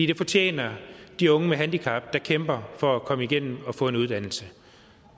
det fortjener de unge med handicap der kæmper for at komme igennem og få en uddannelse